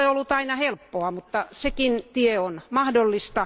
Se ei ole ollut aina helppoa, mutta sekin tie on mahdollinen.